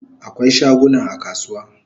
Akwai shaguna a kasuwa